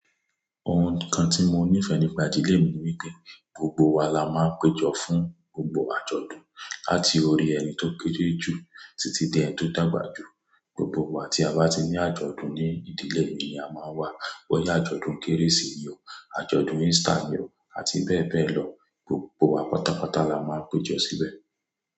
Ohun kan tí mo nífẹ̀ẹ́ nípa ìdílé mi ni wipé gbogbo wa la máa ń péjọ fún gbogbo àjọ̀dún. Láti orí ẹni tó kére jù títí dé ẹni tó dàgbà jù. Gbogbo wa tí a bá ti ní àjọ̀dún ní ìdílé mí ni a máa wá. Bóyá àjọ̀dún Kérésì ni o, àjọ̀dún Easter ni o àti bẹ́ẹ̀ bẹ́ẹ̀ lọ, gbogbo wa pátápátá la máa ń péjọ síbẹ̀.